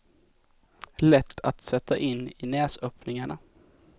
Lätt att sätta in i näsöppningarna.